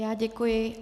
Já děkuji.